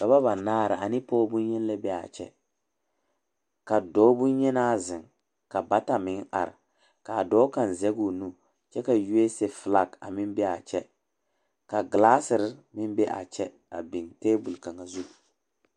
Dɔbɔ banaare ane pɔge boŋyeni la be a kyɛ ka dɔɔ boŋyenaa zeŋ ka bata meŋ are ka a dɔɔ kaŋ zɛge o nu kyɛ ka USA felaki a meŋ be a kyɛ ka gelaasere meŋ be a kyɛ a biŋ tabol kaŋ zu.